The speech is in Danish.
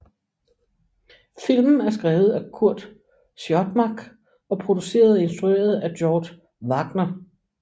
Filmen er skrevet af Curt Siodmak og produceret og instrueret af George Waggner